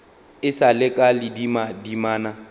e sa le ka ledimadimana